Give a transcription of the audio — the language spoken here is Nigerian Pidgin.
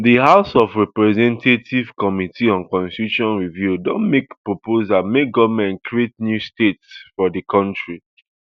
di house of representatives committee on constitution review don make proposal make goment create new states for di kontri